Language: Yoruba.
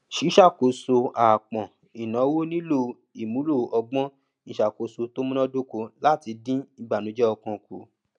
ṣíṣàkóso àápọn ináwó nílò ìmúlò ọgbọn ìṣàkóso tó munadoko láti dín ìbànújẹ ọkàn kù